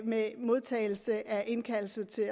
med modtagelse af indkaldelse til at